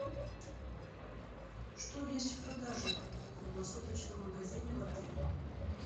что есть в продаже в круглосуточном магазине в отеле